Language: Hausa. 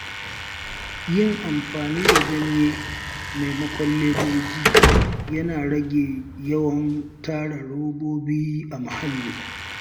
Yin amfani da ganye maimakon ledoji yana rage yawan tara robobi a muhalli.